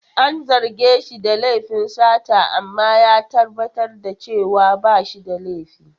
An zarge shi da laifin sata amma ya tabbatar da cewa ba shi da laifi.